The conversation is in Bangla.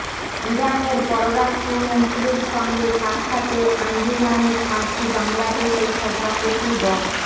ইরানের পররাষ্ট্রমন্ত্রীর সঙ্গে সাক্ষাতে আঞ্জুমানে ফার্সি বাংলাদেশের সভাপতি ড